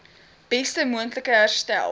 beste moontlike herstel